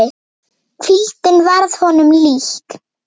Hvíldin varð honum líkn.